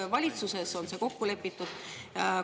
Kas valitsuses on see kokku lepitud?